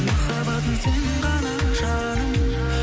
махаббатым сен ғана жаным